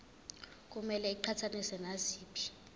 kumele iqhathaniswe naziphi